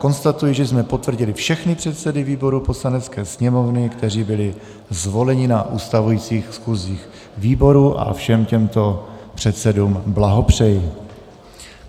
Konstatuji, že jsme potvrdili všechny předsedy výborů Poslanecké sněmovny, kteří byli zvoleni na ustavujících schůzích výborů, a všem těmto předsedům blahopřeji.